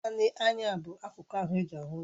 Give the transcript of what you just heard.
Naanị anya bụ akụku ahụ eji ahụ ụzọ.